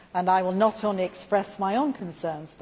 I will not only express my own concerns